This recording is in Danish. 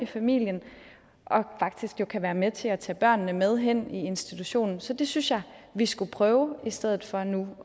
familien og faktisk kan være med til at tage børnene med hen i institutionen så det synes jeg vi skulle prøve i stedet for nu at